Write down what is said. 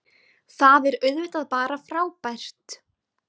Það er auðvitað bara frábært